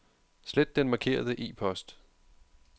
Slet den markerede e-post.